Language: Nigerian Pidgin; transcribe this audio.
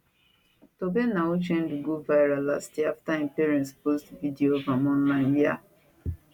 tobenna uchendu go viral last year afta im parents post video of am online wia